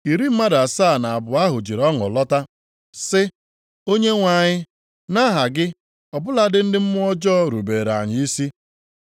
Iri mmadụ asaa na abụọ ahụ jiri ọṅụ lọta sị, “Onyenwe anyị, nʼaha gị, ọ bụladị ndị mmụọ ọjọọ rubeere anyị isi.”